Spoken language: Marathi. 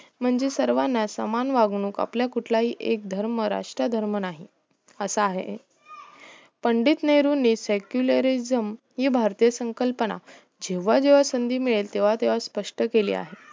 म्हणजे सर्वाना समान वागणूक आपला कुठलाही एक धर्म राष्ट्र धर्म नाही असा आहे पंडित नेहरुंनी secularism ही भारतीय संकल्पना जेव्हा जेव्हा संधी मिळेल तेव्हा तेव्हा स्पष्ट केला आहे